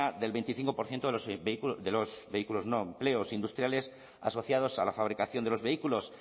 del veinticinco por ciento de los vehículos de los vehículos no empleos industriales asociados a la fabricación de los vehículos